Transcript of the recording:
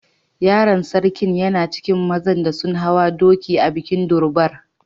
Yaron sarkin yana cikin mazan da sun hawa doki a'bikin Durbar.